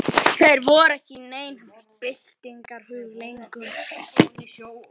Þeir voru ekki í neinum byltingarhug lengur.